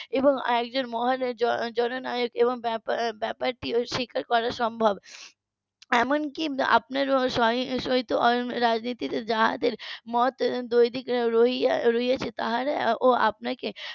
এবং মহান জন নায়ক এবং ব্যাপারটি ও স্বীকার করা সম্ভব এমনকি . রাজনীতির যাদের মত দৈবিক রয়েছে তাদের ও আপনাদের